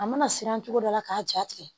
A mana siran cogo dɔ la k'a ja tigɛ